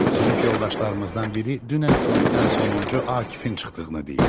Sinif yoldaşlarımızdan biri dünən sinifdən sonuncu Akifin çıxdığını deyir.